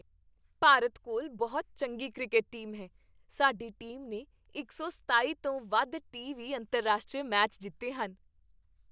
ਭਾਰਤ ਕੋਲ ਬਹੁਤ ਚੰਗੀ ਕ੍ਰਿਕਟ ਟੀਮ ਹੈ ਸਾਡੀ ਟੀਮ ਨੇ ਇੱਕ ਸੌ ਸਤਾਈ ਤੋਂ ਵੱਧ ਟੀ ਵੀਹ ਅੰਤਰਰਾਸ਼ਟਰੀ ਮੈਚ ਜਿੱਤੇ ਹਨ